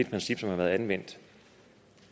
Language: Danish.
princip som har været anvendt